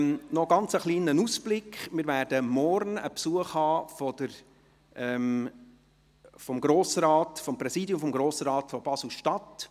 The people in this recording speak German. Noch ein kleiner Ausblick: Morgen erhalten wir Besuch vom Grossratspräsidium Basel-Stadt.